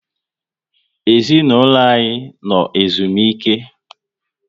Ezinaụlọ anyị no ezumike